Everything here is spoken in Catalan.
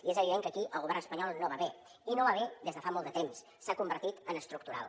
i és evident que aquí el govern espanyol no va bé i no va bé des de fa molt de temps s’ha convertit en estructural